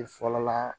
E fɔlɔ la